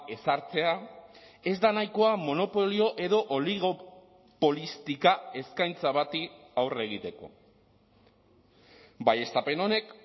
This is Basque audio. ezartzea ez da nahikoa monopolio edo oligopolistika eskaintza bati aurre egiteko baieztapen honek